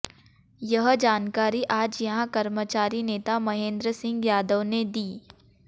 यह जानकारी आज यहां कर्मचारी नेता महेन्द्र सिंह यादव ने दी